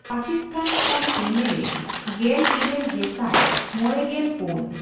ᱯᱟᱠᱤᱥᱛᱟᱱ ᱠᱷᱚᱱ ᱮᱢᱹᱮᱞᱹᱮ ᱜᱮᱞᱤᱨᱟᱹᱞ ᱜᱮᱥᱟᱭ ᱢᱚᱲᱮᱜᱮᱞ ᱯᱩᱱ ᱾